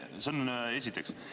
See on esiteks.